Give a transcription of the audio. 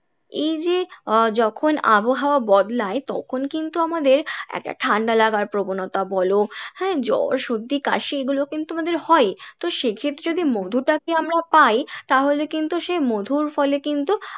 এইযে আহ যখন আবহাওয়া বদলাই তখন কিন্তু আমাদের একটা ঠাণ্ডা লাগার প্রবণতা বলো, হ্যাঁ জ্বর সর্দি কাশি এগুলো কিন্তু আমাদের হয়ই তো সেক্ষেত্রে যদি মধু টাকে আমরা পাই তাহলে কিন্তু সে মধুর ফলে কিন্তু